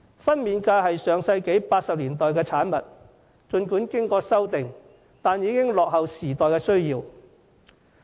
分娩假是上世紀1980年代的產物，儘管經過修訂，但已經落後於時代的需要。